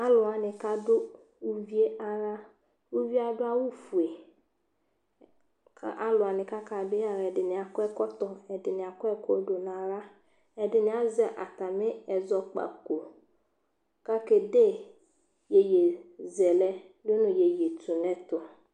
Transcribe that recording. alowani ka do uvie ala uvie ado awu fue k'alowani k'aka do yi ala yɛ ɛdini akɔ ɛkɔtɔ ɛdini akɔ ɛkò do no ala ɛdini azɛ atami ɛzɔkpako k'ake de yeye zɛlɛ do no yeye to n'ɛto